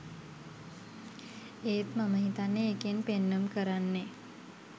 ඒත් මම හිතන්නේ ඒකෙන් පෙන්නුම් කරන්නේ